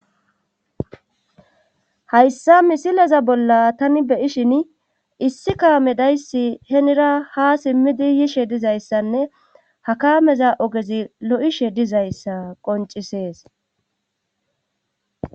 hayssa misileza bolla tani beyishin issi kaame dayssi henira ha simmidi yishe dizayssanne hakameza ogezi lo7ishe dizayssa qoncisees